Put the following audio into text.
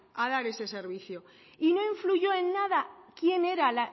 a dar ese servicio y no influyó en nada